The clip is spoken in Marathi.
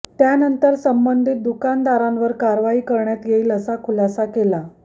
त्या नंतर संबधीत दुकानदारांवर कारवाई करण्यांत येईल असा खुलासा केला